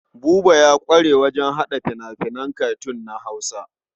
Buba ya ƙware wajen haɗa fina-finan katun na Hausa.